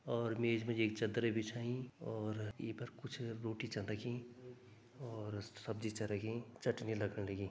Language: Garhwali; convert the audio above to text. और मेज मा जी एक चद्दर बिछाईं और ये पर कुछ रोटी छन रखीं और सब्जी छ रखीं चटनी लगण लगीं।